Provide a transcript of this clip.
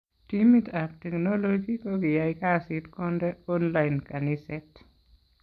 Timit ab teknoloji kokiyay kasit konde online kaniset